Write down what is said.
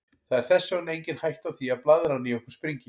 Það er þess vegna engin hætta á því að blaðran í okkur springi.